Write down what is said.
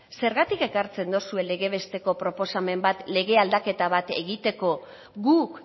zergatik ekartzen dozue lege besteko proposamen bat lege aldaketa bat egiteko guk